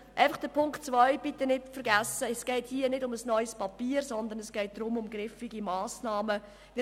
Einfach noch zu Ziffer 2: Bitte vergessen Sie nicht, dass es hierbei nicht um ein neues Papier, sondern um griffige Massnahmen geht.